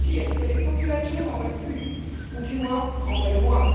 Pire, que les populations n'en veulent plus, ou du moins en veulent moins.